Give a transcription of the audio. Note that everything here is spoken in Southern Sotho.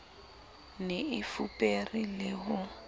ne e fupere le ho